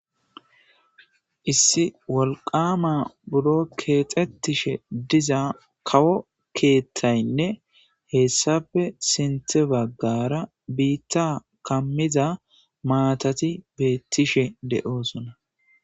Issi wolqama buro keexetishe diza kawo keeththaynne hessappe sinththe baggara biita kammiza maatati beettishe de'osona.